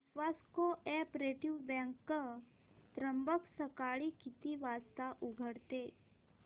विश्वास co-operative bank Trimbak सकाळी किती वाजता उघडते